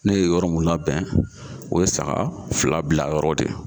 Ne ye yɔrɔ mun labɛn o ye saga fila bila yɔrɔ